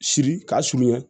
Siri k'a surunya